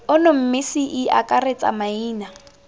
ono mme ce akaretse maina